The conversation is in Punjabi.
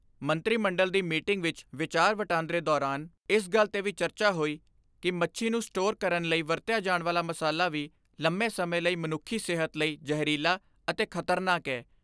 ਮੰਤਰੀ ਮੰਡਲ ਦੀ ਮੀਟਿੰਗ ਵਿੱਚ ਵਿਚਾਰ ਵਟਾਂਦਰੇ ਦੌਰਾਨ ਇਸ ਗੱਲ 'ਤੇ ਵੀ ਚਰਚਾ ਹੋਈ ਕਿ ਮੱਛੀ ਨੂੰ ਸਟੋਰ ਕਰਨ ਲਈ ਵਰਤਿਆ ਜਾਣ ਵਾਲਾ ਮਸਾਲਾ ਵੀ ਲੰਮੇ ਸਮੇ ਲਈ ਮਨੁੱਖੀ ਸਿਹਤ ਲਈ ਜਹਿਰੀਲਾ ਅਤੇ ਖਤਰਨਾਕ ਏ।